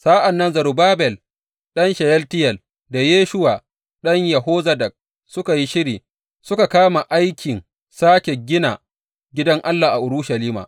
Sa’an nan Zerubbabel ɗan Sheyaltiyel da Yeshuwa ɗan Yozadak suka yi shiri suka kama aikin sāke gina gidan Allah a Urushalima.